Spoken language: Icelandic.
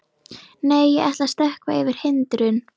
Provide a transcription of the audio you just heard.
Nei, ég ætla að stökkva yfir hindrun.